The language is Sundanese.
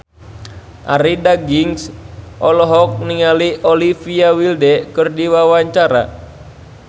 Arie Daginks olohok ningali Olivia Wilde keur diwawancara